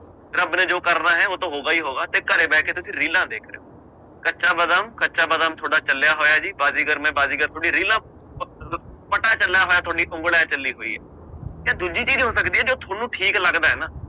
ਰੱਬ ਨੇ ਜੋ ਕਰਨਾ ਹੈ ਉਹ ਤਾਂ ਹੋਗਾ ਹੀ ਹੋਗਾ ਅਤੇ ਘਰੇ ਬਹਿ ਕੇ ਤੁਸੀਂ ਰੀਲਾਂ ਦੇਖ ਰਹੇ ਹੋ ਕੱਚਾ ਬਾਦਾਮ ਕੱਚਾ ਬਾਦਾਮ ਤੁਹਾਡਾ ਚੱਲਿਆ ਹੋਇਆ ਜੀ, ਬਾਜੀਗਰ ਮੈਂ ਬਾਜੀਗਰ ਤੁਹਾਡੀਆਂ ਰੀਲਾਂ ਪਟਾ ਚੱਲਿਆ ਹੋਇਆ ਤੁਹਾਡੀ ਉਂਗਲ ਇਉਂ ਚੱਲੀ ਹੋਈ ਹੈ ਤੇ ਦੂਜੀ ਚੀਜ਼ ਹੋ ਸਕਦੀ ਹੈ ਜੋ ਤੁਹਾਨੂੰ ਠੀਕ ਲੱਗਦਾ ਹੈ ਨਾ